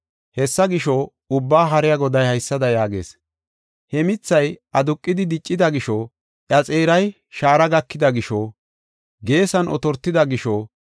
Hessa gisho, Ubbaa Haariya Goday haysada yaagees: “He mithay aduqidi diccida gisho, iya xeeray shaara gakida gishonne I ba geesan otortida gisho,